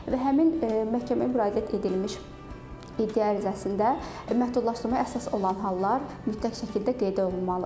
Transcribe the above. Və həmin məhkəməyə müraciət edilmiş iddia ərizəsində məhdudlaşdırmaya əsas olan hallar mütləq şəkildə qeyd olunmalıdır.